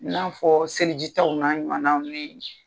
I n'a fɔ selijitaw n'a ɲuwanaw ni